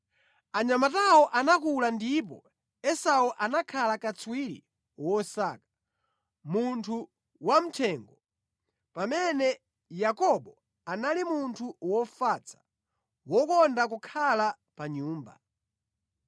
Anyamatawo anakula ndipo Esau anakhala katswiri wosaka, munthu wamʼthengo, pamene Yakobo anali munthu wofatsa, wokonda kukhala pa nyumba.